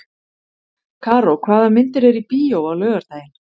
Karó, hvaða myndir eru í bíó á laugardaginn?